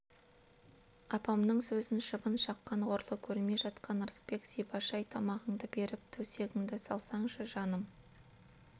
апамның сөзін шыбын шаққан ғұрлы көрмей жатқан ырысбек зибаш-ай тамағыңды беріп төсегіңді салсаңшы жаным